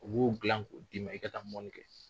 U b'o dilan k'o d'i ma i ka taa fɔli kɛ.